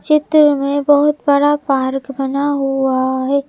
चित्र में बहुत बड़ा पार्क बना हुआ है।